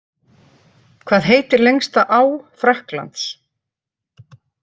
Hvað heitir lengsta á Frakklands?